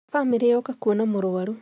Bamĩrĩ yooka kũona mũrũaru